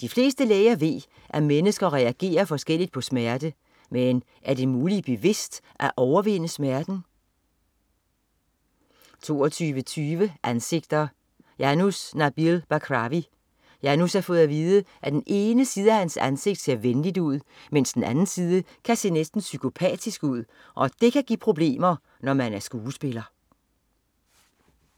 De fleste læger ved, at mennesker reagerer forskelligt på smerte, men er det muligt bevidst at overvinde smerten? 22.20 Ansigter: Janus Nabil Bakrawi. Janus har fået at vide, at den ene side af hans ansigt ser venligt ud, mens den anden side kan se næsten psykopatisk ud, og det kan give problemer når man er skuespiller